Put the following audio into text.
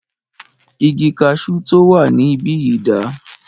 Igi kaṣu tí o wà níbìyí dà?